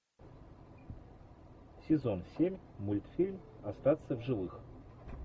сезон семь мультфильм остаться в живых